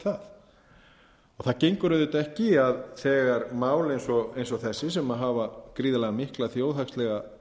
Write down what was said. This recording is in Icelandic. það gengur auðvitað ekki að þegar mál eins og þessi sem hafa gríðarlega mikla þjóðhagslega